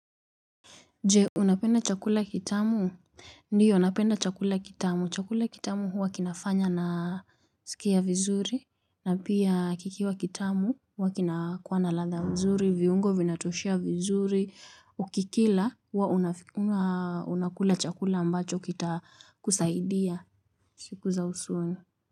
Je unapenda chakula kitamu ndio napenda chakula kitamu chakula kitamu huwa kinafanya nasikia vizuri na pia kikiwa kitamu huwa kinakuwa na ladha mzuri viungo vinatoshea vizuri ukikila huwa unakula chakula ambacho kitakusaidia siku za usoni.